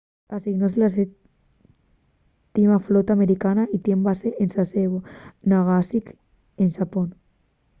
asignóse a la 7ª flota americana y tien base en sasebo nagasaki en xapón